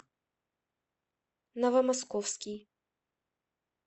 новомосковский